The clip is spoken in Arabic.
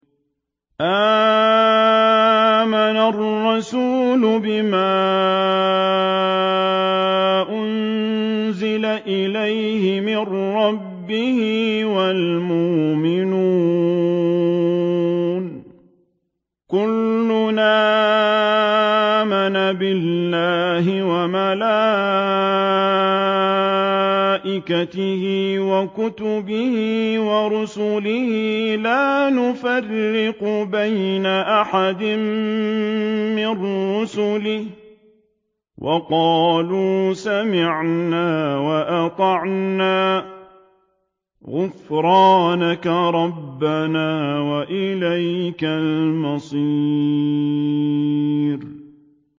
آمَنَ الرَّسُولُ بِمَا أُنزِلَ إِلَيْهِ مِن رَّبِّهِ وَالْمُؤْمِنُونَ ۚ كُلٌّ آمَنَ بِاللَّهِ وَمَلَائِكَتِهِ وَكُتُبِهِ وَرُسُلِهِ لَا نُفَرِّقُ بَيْنَ أَحَدٍ مِّن رُّسُلِهِ ۚ وَقَالُوا سَمِعْنَا وَأَطَعْنَا ۖ غُفْرَانَكَ رَبَّنَا وَإِلَيْكَ الْمَصِيرُ